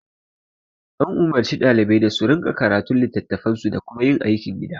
An umurci ɗalibai da su rinƙa karatun litattafansu da kuma yin aikin gida